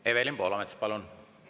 Evelin Poolamets, palun!